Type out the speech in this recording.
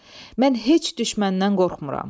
Mən heç düşməndən qorxmuram.